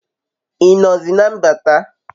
I nozi na mbata?